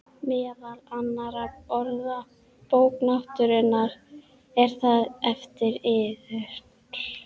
Meðal annarra orða: Bók náttúrunnar,- er það eftir yður?